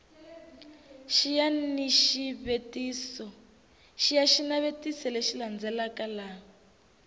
xiya xinavetiso lexi landzelaka laha